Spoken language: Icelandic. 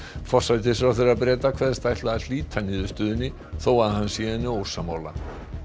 forsætisráðherra Breta kveðst ætla að hlíta niðurstöðunni þó að hann sé henni ósammála